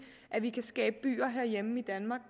at vi kan skabe byer herhjemme i danmark